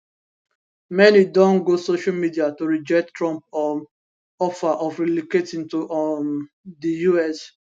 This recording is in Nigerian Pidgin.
many don go social media to reject trump um offer of relocating to um di us